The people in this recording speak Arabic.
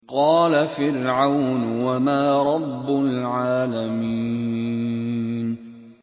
قَالَ فِرْعَوْنُ وَمَا رَبُّ الْعَالَمِينَ